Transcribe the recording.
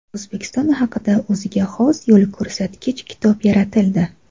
O‘zbekiston haqida o‘ziga xos yo‘lko‘rsatkich kitob yaratildi.